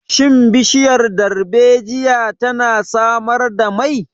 Shin bishiyar darbejiya tana samar da mai?